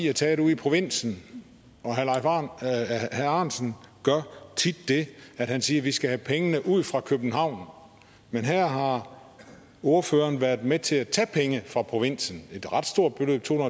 er taget ude i provinsen og herre ahrendtsen gør tit det at han siger at vi skal have pengene ud fra københavn men her har ordføreren været med til at tage penge fra provinsen et ret stort beløb to